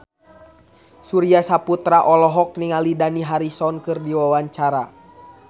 Surya Saputra olohok ningali Dani Harrison keur diwawancara